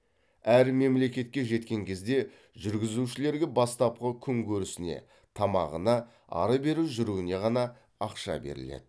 әр мемлекетке жеткен кезде жүргізушілерге бастапқы күнкөрісіне тамағына ары бері жүруіне ғана ақша беріледі